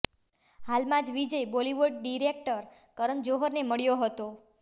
હાલમાં જ વિજય બોલિવૂડ ડિરેક્ટર કરન જોહરને મળ્યો હતો